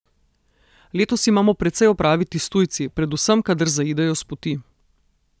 Letos imamo precej opraviti s tujci, predvsem kadar zaidejo s poti.